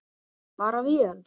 Bara vel.